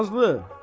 Nazlı!